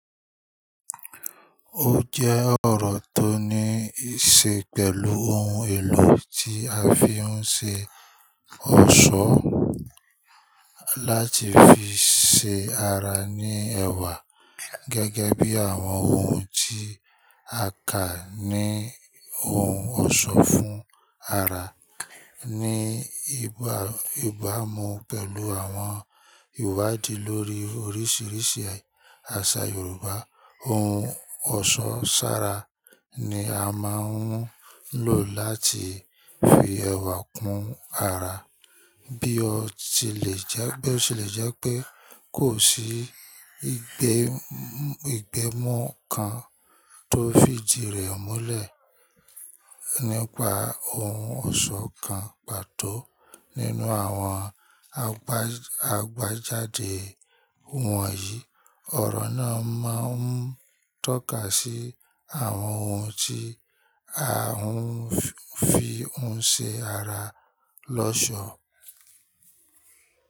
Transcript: Ó jẹ́ ọ̀rọ̀ tó níí ṣe pẹ̀lú ohun èlò tí a fi ń ṣe ọ̀ṣọ́ láti fi ṣe ara ní ẹ̀wà, gẹ́gẹ́ bí àwọn ohun tí a kà ní ohun ọ̀ṣọ́ fún ara. Ni ìgbà ibàmú pẹ̀lú àwọn ìwádìí lórí oríṣiríṣi àṣà Yorùbá, ohun ọ̀ṣọ́ ṣára ni a máa ń lò láti fi ẹwà kún ara. Bí ó tilẹ̀ jẹ́ pé kò sí ìgbémọ̀ kan tó fìdí rẹ̀ múlẹ̀ nípa ohun ọ̀ṣọ́ kan pàtó. Nínú àwọn àgbájáde wọ̀nyí, ọ̀rọ̀ náà máa ń tọ́ka sí àwọn ohun tí à ń fi ń ṣe ara lọ́ṣọ̀ọ́.